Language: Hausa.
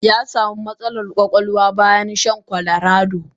Yasamu matsalan kwakwalwa bayan shan colarado.